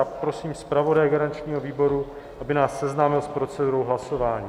Já prosím zpravodaje garančního výboru, aby nás seznámil s procedurou hlasování.